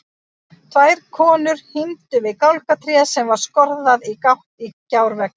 Tvær konur hímdu við gálgatréð sem var skorðað í gátt í gjárveggnum.